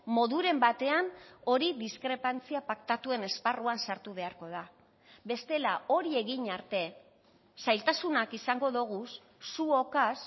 moduren batean hori diskrepantzia paktatuen esparruan sartu beharko da bestela hori egin arte zailtasunak izango doguz zuokaz